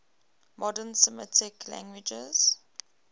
modern semitic languages